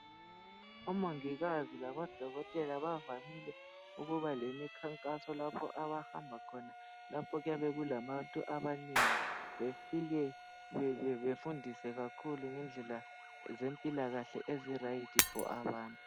Omongikazi labodokotela bavamile ukuba lemikhankaso lapho abahamba khona lapho kuyabe kulabantu abanengi befike befundise kakhulu ngendlela ezempilakahle ezilungele abantu